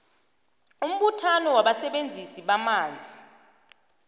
umbuthano wabasebenzisi bamanzi